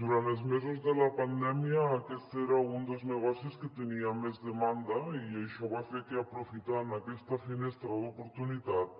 durant els mesos de la pandèmia aquest era un dels negocis que tenia més demanda i això va fer que aprofitant aquesta finestra d’oportunitat